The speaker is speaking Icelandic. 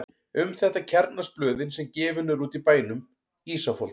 Um þetta kjarnast blöðin sem gefin eru út í bænum: Ísafold